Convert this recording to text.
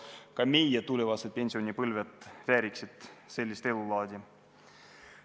Ka meie pensionärid vääriksid sellist elulaadi.